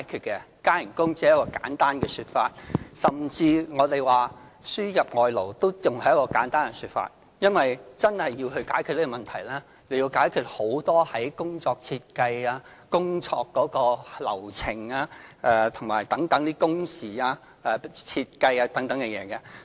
加工資只是一個簡單的說法，甚至輸入外勞也只是一個簡單的說法，因為真的要解決這問題，需要解決很多工作設計、工作流程、工時設計等事宜。